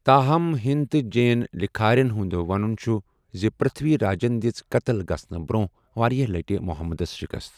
تاہم، ہنِد تہٕ جین لکھٲرٮ۪ن ہُنٛد وَنُن چھُ زِ پرتھوی راجن دِژ قتل گژھنہٕ برونٛہہ واریاہ لٹہِ محمدس شکست۔